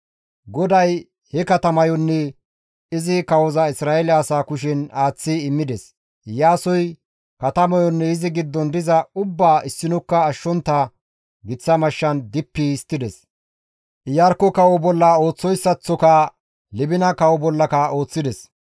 GODAY he katamayonne izi kawoza Isra7eele asaa kushen aaththi immides; Iyaasoy katamayonne izi giddon diza ubbaa issinokka ashshontta giththa mashshan dippi histtides; Iyarkko kawo bolla ooththoyssaththoka Libina kawo bollaka ooththides.